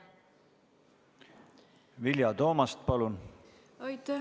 Vilja Toomast, palun!